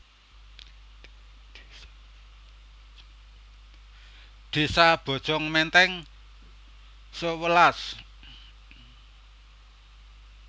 Désa Bojong Menteng sewelas